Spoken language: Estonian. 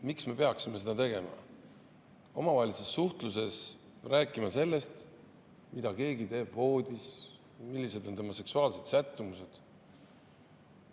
Miks me peaksime seda tegema, omavahelises suhtluses rääkima sellest, mida keegi teeb voodis, milline on tema seksuaalne sättumus?